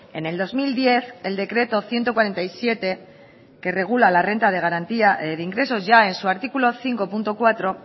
en el dos mil diez el decreto ciento cuarenta y siete que regula la renta de garantía de ingresos ya en su artículo cinco punto cuatro